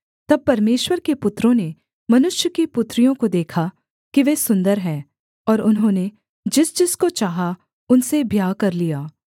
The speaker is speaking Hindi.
तब परमेश्वर के पुत्रों ने मनुष्य की पुत्रियों को देखा कि वे सुन्दर हैं और उन्होंने जिसजिसको चाहा उनसे ब्याह कर लिया